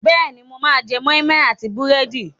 Bẹ́ẹ̀ni, mo máa jẹ́ moi moi àti búrẹ́dì.